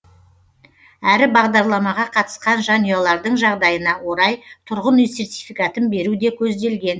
әрі бағдарламаға қатысқан жанұялардың жағдайына орай тұрғын үй сертификатын беру де көзделген